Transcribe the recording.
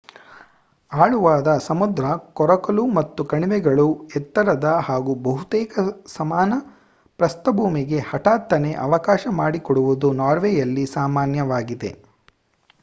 ಆಳವಾದ ಸಮುದ್ರ ಕೊರಕಲು ಮತ್ತು ಕಣಿವೆಗಳು ಎತ್ತರದ ಹಾಗೂ ಬಹುತೇಕ ಸಮಾನ ಪ್ರಸ್ಥಭೂಮಿಗೆ ಹಠಾತ್ತನೆ ಅವಕಾಶ ಮಾಡಿಕೊಡುವುದು ನಾರ್ವೆಯಲ್ಲಿ ಸಾಮಾನ್ಯವಾಗಿದೆ